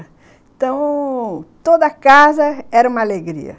Então, toda casa era uma alegria.